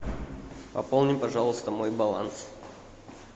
пополни пожалуйста мой баланс